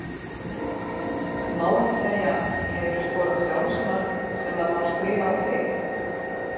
Má ekki segja Hefurðu skorað sjálfsmark sem að má skrifa á þig?